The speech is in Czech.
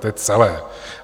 To je celé.